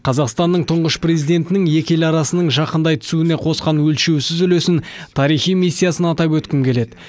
қазақстанның тұңғыш президентінің екі ел арасының жақындай түсуіне қосқан өлшеусіз үлесін тарихи миссиясын атап өткім келеді